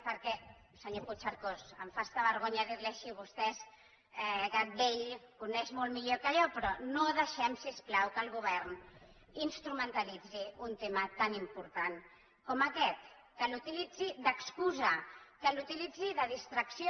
perquè senyor puigcercós em fa fins i tot vergonya dir li ho així vostè és gat vell ho coneix molt millor que jo però no deixem si us plau que el govern instrumentalitzi un tema tan important com aquest que l’utilitzi d’excusa que l’utilitzi de distracció